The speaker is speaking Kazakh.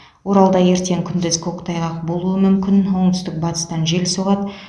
оралда ертең күндіз көктайғақ болуы мүмкін оңтүстік батыстан жел соғады